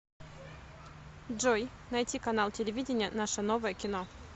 джой найти канал телевидения наше новое кино